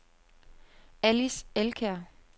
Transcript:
Alice Elkjær